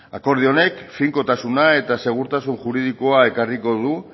akordio honek finkotasuna eta segurtasun juridikoa ekarriko du